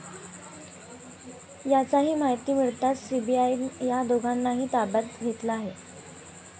याची माहिती मिळताच सीबीआयनं या दोघांनाही ताब्यात घेतलं आहे.